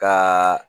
Ka